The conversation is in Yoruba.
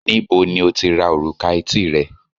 níbo ni o ti ra òrùka etí rẹ